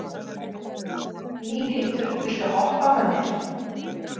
Línhildur, viltu hoppa með mér?